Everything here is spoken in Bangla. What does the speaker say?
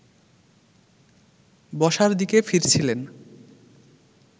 বসার দিকে ফিরছিলেন